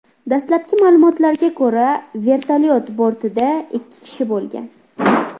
Dastlabki ma’lumotlarga ko‘ra, vertolyot bortida ikki kishi bo‘lgan.